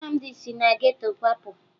Nnamdị si na geto kwapụ